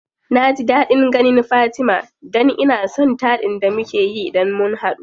Naji daɗin ganin fatima dan ina son taɗin da mukeyi idan mun hadu.